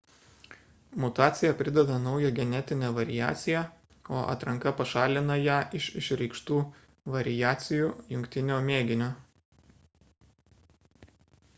mutacija prideda naują genetinę variaciją o atranka pašalina ją iš išreikštų variacijų jungtinio mėginio